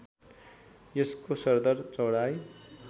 यसको सरदर चौडाइ